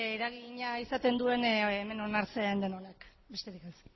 eragina izaten duen hemen onartzen den honek besterik ez